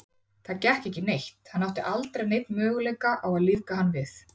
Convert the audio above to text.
Það gekk ekki neitt, hann átti aldrei neinn möguleika á að lífga hann við.